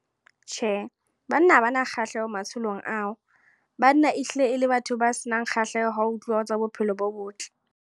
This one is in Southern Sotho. Tjhe, banna ha ba na kgahleho matsholong ao. Banna e hlile e le batho ba se nang kgahleho, ha ho tluwa ho tsa bophelo bo botle.